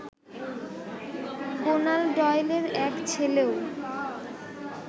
Conan ডয়েলের এক ছেলেও